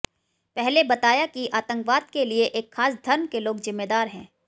पहले बताया कि आतंकवाद के लिए एक खास धर्म के लोग ज़िम्मेदार हैं